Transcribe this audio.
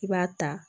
I b'a ta